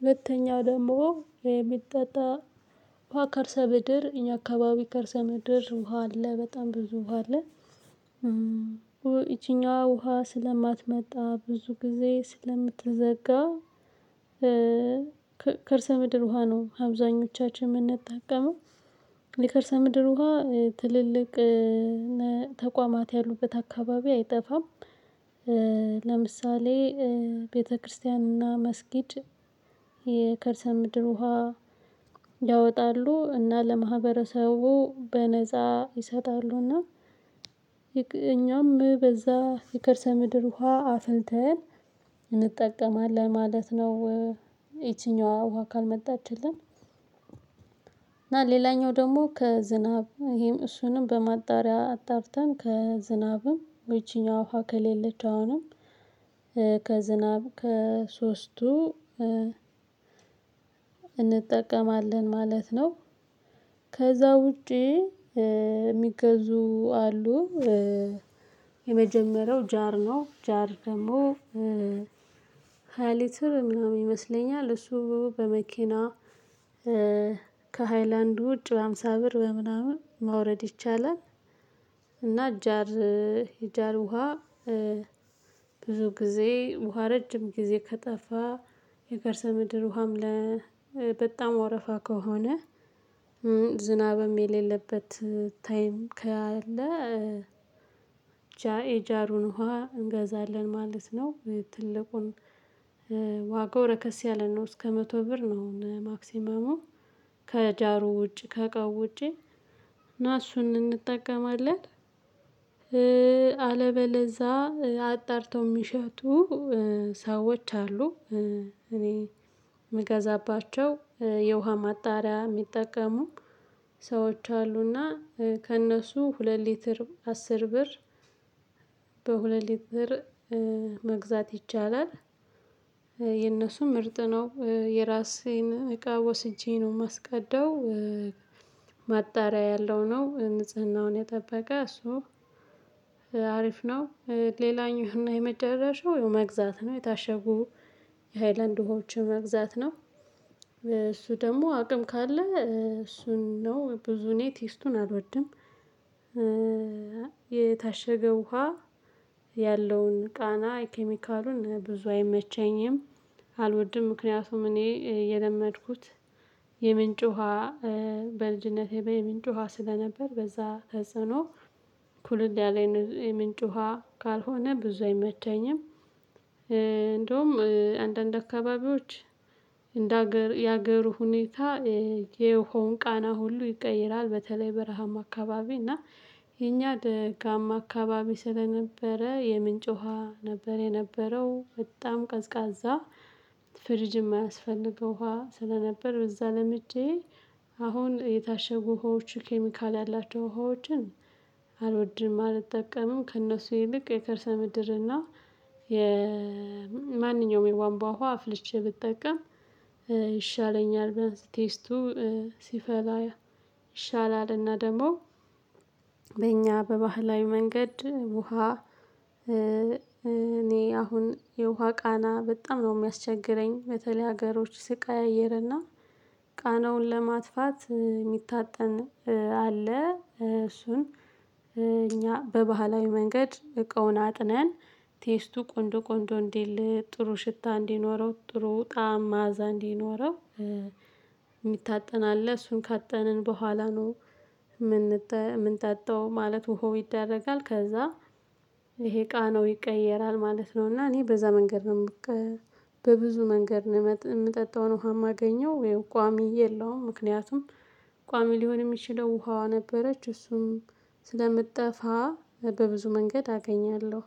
ሁለተኛው ደግሞ የሚጠጣ ውሃ ከከርሰ ምድር እኛ አካባቢ ከርሰ ምድር ውሃ አለ በጣም ብዙ ውሃ አለ። እቺኛዋ ውሃ ስለማትመጣ ብዙ ጊዜ ስለምትዘጋ። ከከርሰ ምድር ውሃ ነው አብዛኞቻችን የምንጠቀመው የከርሰ ምድር ውሃ ትልልቅ ተቋማት ያሉበት አካባቢ አይጠፋም። ለምሳሌ ቤተክርስቲያንና መስጂድ። የከርሰ ምድር ውሃ ያወጣሉ እና ለማህበረሰቡ በነፃ ይሰጣሉ እና እኛም በዛ የከርሰ ምድር ውሃ አፍልተን እንጠቀማለን ማለት ነው። ያችኛዋ ውሃ ካልመጣችልን። እና ሌላኛው ደግሞ ከዝናብ ይሄም እሱንም በማጣሪያ አጣርተን ከዝናብም ይቺኛዋ ውሃ ከሌለች አሁንም ከዝናብ ከሶስቱ እንጠቀማለን ማለት ነው። ከዛ ውጪ የሚገዙ አሉ። የመጀመሪያው ጃር ነው ጃር ደግሞ ሃያ ሊትር ምናምን ይመስለኛል እሱ በመኪና ከሃይላንድ ውጭ በሃምሳ ብር በምናምን ማውረድ ይቻላል። እና ጃር የጃር ውሃ ብዙ ጊዜ ውሃ ረጅም ጊዜ ከጠፋ የከርሰ ምድር ውሃም ለበጣም ወረፋ ከሆነ። ዝናብም የሌለበት ታይም ካለ። የጃሩን ውሃ እንገዛለን ማለት ነው። ትልቁን ዋጋው ረከስ ያለ ነው እስከ መቶ ብር ነው አሁን ማክሲመሙ ከጃሩ ውጪ ከእቃው ውጪ እና እሱን እንጠቀማለን። አለበለዛ አጣርተው የሚሸጡ ሰዎች አሉ። እኔ የምገዛባቸው የውሃ ማጣሪያ የሚጠቀሙ ሰዎች አሉና ከእነሱ ሁለት ሊትር አስር ብር ነው የራሴን እቃ ወስጄ ነው የማስቀዳው። ማጣሪያ ያለው ነው ንጽህናውን የጠበቀ እሱ አሪፍ ነው። ሌላኛው እና የመጨረሻው መግዛት ነው የታሸጉ የሃይላንድ ዉሀወችን መግዛት ነው። እሱ ደግሞ አቅም ካለ እሱን ነው ብዙ እኔ ቴስቱን አልወድም። የታሸገው ውሃ ያለውን ቃና ኬሚካሉን ብዙ አይመቸኝም። አልወድም ምክንያቱም እኔ የለመድኩት የምንጭ ውሃ በልጅነቴ የምንጭ ውሃ ስለነበር በዛ ተጽዕኖ ኩልል ያለ የምንጭ ውሃ ካልሆነ ብዙ አይመቸኝም። እንደውም አንዳንድ አካባቢዎች እንደ ሀገር የሀገሩ ሁኔታ የውሃውን ቃና ሁሉ ይቀይራል። በተለይ በረሃም አካባቢ እና የኛ ደጋማ አካባቢ ስለነበረ የምንጭ ውሃ ነበር የነበረው በጣም ቀዝቃዛ። ፍሪጅም አያስፈልገው ውሃ ስለነበር በዛ ለምጂ አሁን የታሸጉ ውሃዎች ኬሚካል ያላቸው ውሃዎችን አልወድም። አልጠቀምም ከእነሱ ይልቅ የከርሰ ምድርና የማንኛውም የቧንቧ ውሃ አፍልቼ ብጠቀም ይሻለኛል። ቴስቱ ሲፈላ ይሻላል። እና ደግሞ በእኛ በባህላዊ መንገድ ውሃ እኔ አሁን የውሃ ቃና በጣም ነው የሚያስቸግረኝ። በተለይ ሀገሮች ስቀያይርና ቃናውን ለማጥፋት የሚታጠን አለ እሱን እኛ በባህላዊ መንገድ እቃውን አጥነን ቴስቱ ቆንጆ ቆንጆ እንዲል ጥሩ ሽታ እንዲኖረው ጥሩ ጣዕም ማዕዛ እንዲኖረው የሚታጠን አለ እሱን ካጠንን በኋላ ነው። የምንጠጣው ማለት ወሀው ይደረጋል ከዛ ይሄ ቃናው ይቀየራል ማለት ነው። እና እኔ በዛ መንገድ ነው በብዙ መንገድ ነው የምጠጣውን ውሃ የማገኘው ያው ቋሚ የለውም። ምክንያቱም ቋሚ ሊሆን የሚችለው ውሃዋ ነበረች እሱም ስለምትጠፋ በብዙ መንገድ አገኛለሁ።